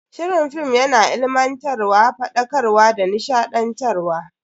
Shirin film yana ilimantarwa, fadakarwa da nishadantarwa.